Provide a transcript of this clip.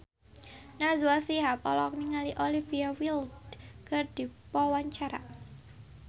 Najwa Shihab olohok ningali Olivia Wilde keur diwawancara